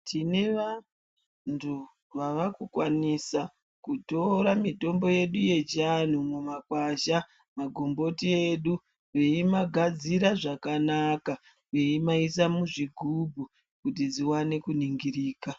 Tine vantu vavakukwanisa kutora mitombo yedu yechiantu mumakwasha, magomboti edu veimagadzira zvakanaka veimaisa muzvigubhu kuti zviwane kuningirika.